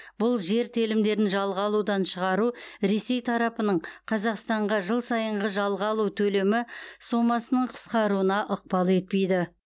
бұл жер телімдерін жалға алудан шығару ресей тарапының қазақстанға жыл сайынғы жалға алу төлемі сомасының қысқаруына ықпал етпейді